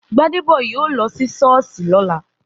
Gbádébọ̀ yóò lọ sí Sọ́ọ̀sì lọ́la.